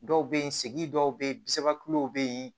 Dɔw bɛ yen segi dɔw bɛ yen samiyɛw bɛ yen